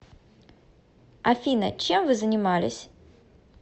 афина чем вы занимались